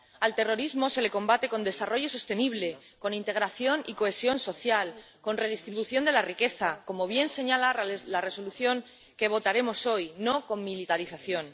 Al terrorismo se le combate con desarrollo sostenible, con integración y cohesión social, con redistribución de la riqueza, como bien señala la Resolución que votaremos hoy, no con militarización.